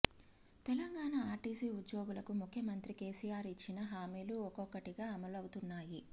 Telangana RTC ఉద్యోగులకు ముఖ్యమంత్రి కేసీఆర్ ఇచ్చిన హామీలు ఒక్కొక్కటిగా అమలవుతున్నాయి